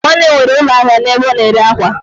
Nne m nwere ulo ahia ebe o na ere akwa